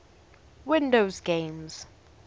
windows games